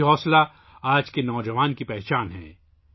یہ ہمت آج کے نوجوانوں کی پہچان ہے